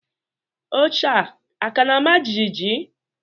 Oche a ka na-ama jijiji?